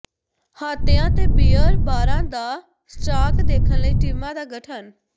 ਹਾਤਿਆਂ ਤੇ ਬੀਅਰ ਬਾਰਾਂ ਦਾ ਸਟਾਕ ਦੇਖਣ ਲਈ ਟੀਮਾਂ ਦਾ ਗਠਨ